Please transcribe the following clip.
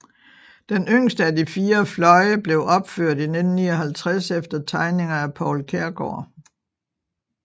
Den yngste af de fire fløje blev opført i 1959 efter tegninger af Poul Kjærgaard